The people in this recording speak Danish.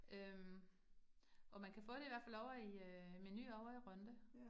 Øh og man kan få det i hvert fald ovre i øh Meny ovre i Rønde